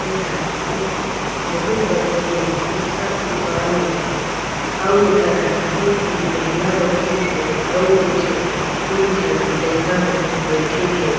एहर एक बहुत बड़े के पुस्तक दुकान हे अउ एकरा एक झीन महिला बईठीस हे अउ दु झन तीन झन लइका मन बैठीन हे।